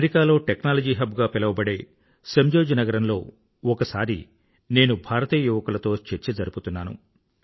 అమెరికాలో technology hub గా పిలవబడే సేంజోజ్ నగరంలో ఒకసారి నేను భారతీయ యువకులతో చర్చ జరుపుతున్నాను